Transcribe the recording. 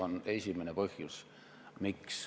Kriis on esimene põhjus, miks.